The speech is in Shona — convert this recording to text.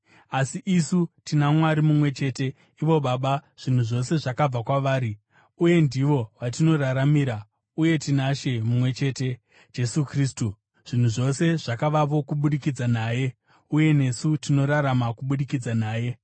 asi isu tina Mwari mumwe chete, ivo Baba, zvinhu zvose zvakabva kwavari uye ndivo vatinoraramira; uye tina She mumwe chete, Jesu Kristu, zvinhu zvose zvakavapo kubudikidza naye, uye nesu tinorarama kubudikidza naye.